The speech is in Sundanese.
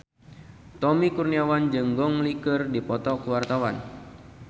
Tommy Kurniawan jeung Gong Li keur dipoto ku wartawan